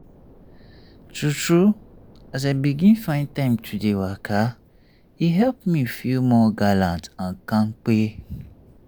true true as as i begin find time to dey waka e help me feel more gallant and kampay.